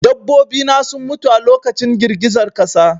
Dabbobi na sun mutu a lokacin girgizar ƙasa